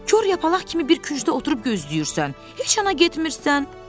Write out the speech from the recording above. Kor yapalaq kimi bir küncdə oturub gözləyirsən, heç yana getmirsən.